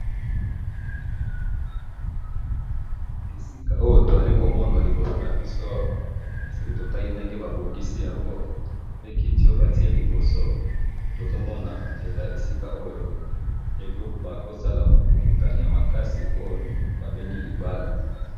Esika oyo tozali komona liboso nabiso awa, soki totali ndenge babongisi yango, pe kiti oyo batye liboso tozomona eza esika oyo bakoki kosala bokutani yamakasi oyo babengi libala